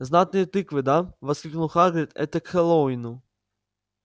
знатные тыквы да воскликнул хагрид это к хэллоуину